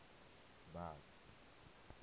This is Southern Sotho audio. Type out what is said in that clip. batho